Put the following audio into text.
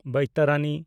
ᱵᱚᱭᱛᱟᱨᱟᱱᱤ